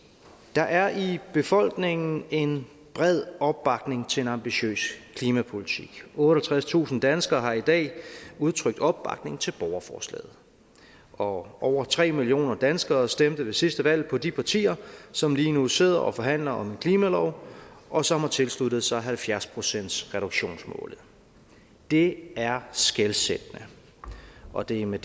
der er i befolkningen en bred opbakning til en ambitiøs klimapolitik otteogtredstusind danskere har i dag udtrykt opbakning til borgerforslaget og over tre millioner danskere stemte ved sidste valg på de partier som lige nu sidder og forhandler om en klimalov og som har tilsluttet sig halvfjerds procentsreduktionsmålet det er skelsættende og det er med